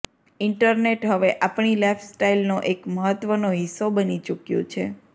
internet હવે આપણી લાઈફસ્ટાઈલનો એક મહત્વનો હિસ્સો બની ચૂક્યું છે